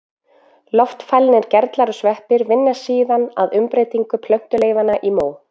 Loftfælnir gerlar og sveppir vinna síðan að umbreytingu plöntuleifanna í mó.